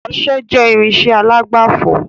Ọsẹ jẹ irinsẹ́ alágbàfọ̀